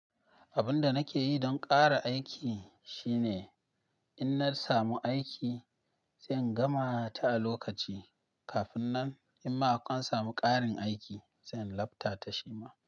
Abun da nake yi don ƙara aiki shine in na samu aiki, se in gama ta a lokaci. Kafin nan in ma an samu ƙarin aiki, sai in lafta ta shi ma.